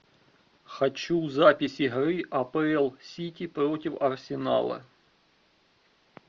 хочу запись игры апл сити против арсенала